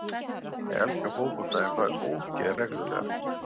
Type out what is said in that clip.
Ég elska fótbolta en fæ ógeð reglulega.